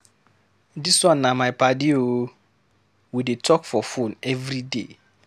Dis one na my paddy o, we dey talk for fone everyday.